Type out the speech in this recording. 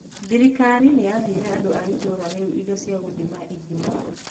Thirikari nĩ yaheire andũ a itũũra rĩu indo cia gũthima ithima.